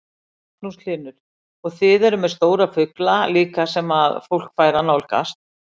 Magnús Hlynur: Og þið eruð með stóra fugla líka sem að fólk fær að nálgast?